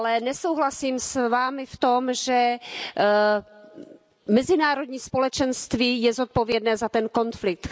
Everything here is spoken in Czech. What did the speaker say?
Nesouhlasím s Vámi však v tom, že mezinárodní společenství je zodpovědné za ten konflikt.